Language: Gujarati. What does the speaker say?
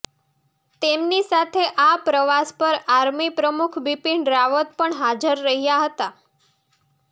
તેમની સાથે આ પ્રવાસ પર આર્મી પ્રમુખ બિપિન રાવત પણ હાજર રહ્યા હતા